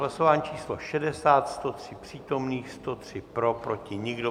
Hlasování číslo 60, 103 přítomných, 103 pro, proti nikdo.